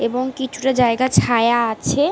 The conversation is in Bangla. এবং কিছুটা জায়গা ছায়া আছে।